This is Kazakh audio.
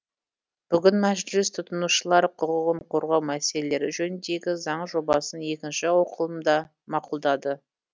бүгін мәжіліс тұтынушылар құқығын қорғау мәселелері жөніндегі заң жобасын екінші оқылымда мақұлдады